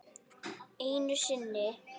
Einu sinni.